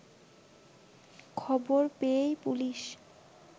খবর পেয়েই পুলিশ